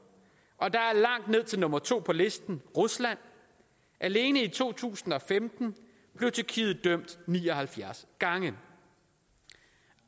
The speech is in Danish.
og der er langt ned til nummer to på listen rusland alene i to tusind og femten blev tyrkiet dømt ni og halvfjerds gange